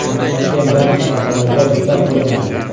Qolgan barcha sohalarda bekor qilinadi.